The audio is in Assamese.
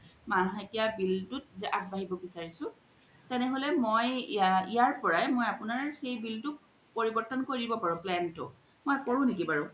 মাহেকিয়া bill তুত জে আগবাঢ়িব বিচাৰিছো তেনেহলে মই ইয়াৰ পৰাই মই আপুনাৰ সেই bill তু পৰিবৰ্তন কৰি দিব পাৰু plan তু হয় কৰো নেকি বাৰু